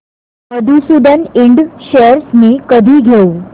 मधुसूदन इंड शेअर्स मी कधी घेऊ